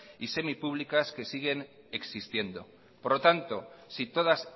y semipúblicas que siguen existiendo por lo tanto si todas